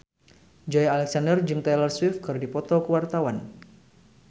Joey Alexander jeung Taylor Swift keur dipoto ku wartawan